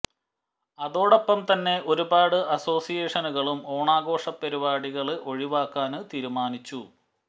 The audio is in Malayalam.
അതോടൊപ്പം തന്നെ ഒരുപാട് അസോസിയേഷനുകളും ഓണഘോഷ പരിപാടികള് ഒഴിവാക്കാന് തീരുമാനിച്ചു